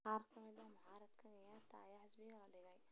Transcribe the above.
Qaar ka mid ah mucaaradka Kenyatta ayaa xabsiga la dhigay.